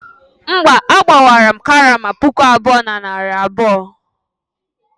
mba, agbawaram karama puku abụọ na narị abụọ